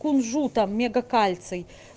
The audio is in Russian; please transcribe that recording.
кунжутом мега кальций